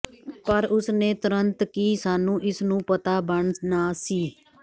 ਪਰ ਉਸ ਨੇ ਤੁਰੰਤ ਕੀ ਸਾਨੂੰ ਇਸ ਨੂੰ ਪਤਾ ਬਣ ਨਾ ਸੀ